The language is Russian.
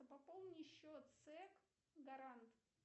пополни счет сэк гарант